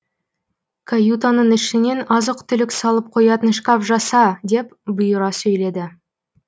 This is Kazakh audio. каютаның ішінен азық түлік салып қоятын шкаф жаса деп бұйыра сөйледі